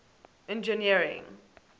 engineering